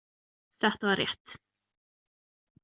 Þetta var rétt.